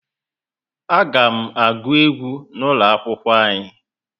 A ga m aguu egwu n'ulo akwụkwọ anyi